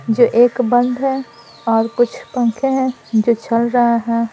जो एक बंद है और कुछ पंखे हैं जो चल रहा है।